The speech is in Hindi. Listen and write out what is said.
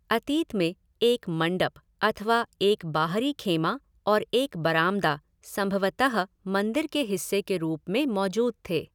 अतीत में, एक मंडप अथवा एक बाहरी ख़ेमा और एक बरामदा संभवतः मंदिर के हिस्से के रूप में मौजूद थे।